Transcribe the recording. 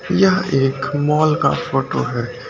यह एक मॉल का फोटो है।